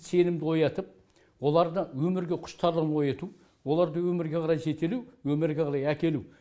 сенімді оятып оларды өмірге құштарлығын ояту оларды өмірге қарай жетелеу өмірге қарай әкелу